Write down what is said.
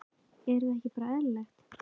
Er það ekki bara eðlilegt?